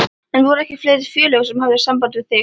En voru ekki fleiri félög sem höfðu samband við þig?